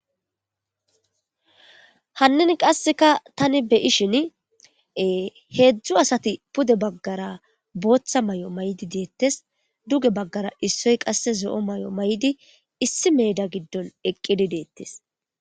Hannin qasseka tani beyishin heedzdzu asati pude baggara booththa may'o may'di deettes duge baggara issoy qasse zo'o may'o may'di issi meeda giddon eqqidi deettes.